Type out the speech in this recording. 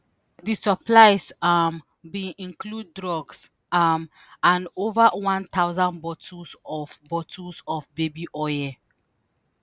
di supplies um bin include drugs um and ova 1000 bottles of bottles of baby oil.